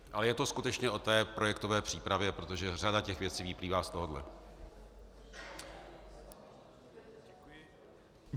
Ale je to skutečně o té projektové přípravě, protože řada těch věcí vyplývá z tohohle.